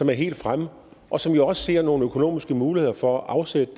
er helt fremme og som jo også ser nogle økonomiske muligheder for at afsætte